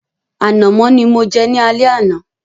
Ànàmọ́ ni mo jẹ ní alẹ́ àná.